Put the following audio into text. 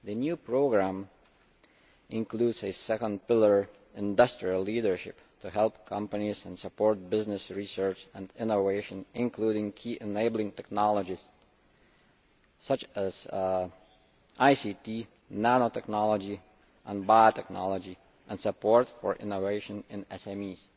The new programme includes a second pillar, Industrial Leadership', to help companies and support business research and innovation, including Key Enabling Technologies such as ICT, nanotechnology and biotechnology and support for innovation in SMEs.